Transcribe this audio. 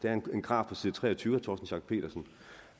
er en graf på side tre og tyve vil